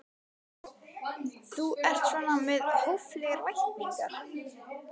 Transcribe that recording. Una: Þú ert svona með hóflegar væntingar?